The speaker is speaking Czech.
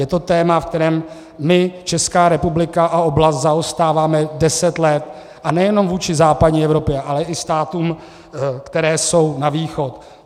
Je to téma, v kterém my, Česká republika, a oblast zaostáváme deset let, a nejenom vůči západní Evropě, ale i státům, které jsou na východ.